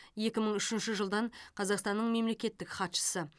екі мың үшінші жылдан қазақстанның мемлекеттік хатшысы